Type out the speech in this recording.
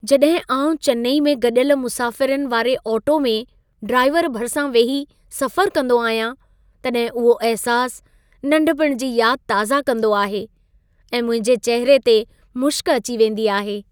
जॾहिं आउं चेन्नई में गॾियल मुसाफ़िरनि वारे ऑटो में ड्राइवर भरिसां वेही सफ़रु कंदो आहियां, तॾहिं उहो अहिसासु, नंढपण जी यादि ताज़ा कंदो आहे ऐं मुंहिंजे चहिरे ते मुशक़ अची वेंदी आहे।